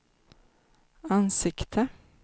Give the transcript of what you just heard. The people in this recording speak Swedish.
ansikte